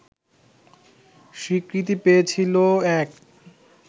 স্বীকৃতি পেয়েছিল এক